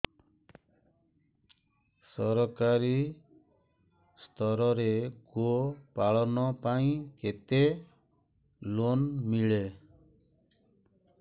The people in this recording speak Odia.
ସରକାରୀ ସ୍ତରରେ ଗୋ ପାଳନ ପାଇଁ କେତେ ଲୋନ୍ ମିଳେ